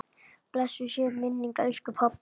Blessuð sé minning elsku pabba.